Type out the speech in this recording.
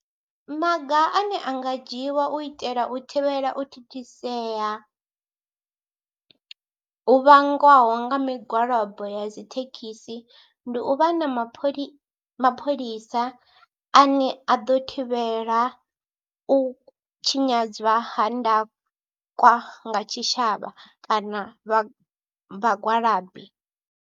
Maga ane a nga dzhiwa u itela u thivhela u thithisea hu vhangwaho nga migwalabo ya dzi thekhisi ndi u vha na mapholisa mapholisa ane a ḓo thivhela u tshinyadzwa ha ndakwa tshitshavha kana vha vhagwalabi.